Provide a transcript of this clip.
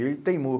E ele teimou.